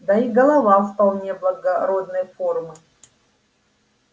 да и голова вполне благородной формы